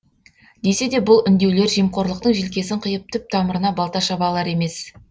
десе де бұл үндеулер жемқорлықтың желкесін қиып түп тамырына балта шаба алар емес